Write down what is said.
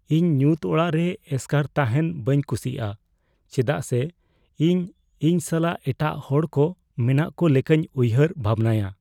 ᱤᱧ ᱧᱩᱛ ᱚᱲᱟᱜ ᱨᱮ ᱮᱥᱠᱟᱨ ᱛᱟᱦᱮᱱ ᱵᱟᱹᱧ ᱠᱩᱥᱤᱭᱟᱜᱼᱟ ᱪᱮᱫᱟᱜ ᱥᱮ ᱤᱧ ᱤᱧ ᱥᱟᱞᱟᱜ ᱮᱴᱟᱜ ᱦᱚᱲᱠᱚ ᱢᱮᱱᱟᱜ ᱠᱚ ᱞᱮᱠᱟᱧ ᱩᱭᱦᱟᱹᱨ ᱵᱷᱟᱵᱱᱟᱭᱟ ᱾